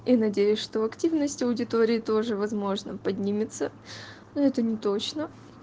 и надеюсь что активность аудитории тоже возможно поднимется ну это неточно